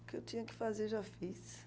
O que eu tinha que fazer eu já fiz.